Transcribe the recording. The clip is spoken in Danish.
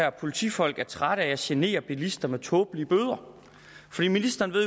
at politifolk er trætte af at genere bilisterne med tåbelige bøder ministeren ved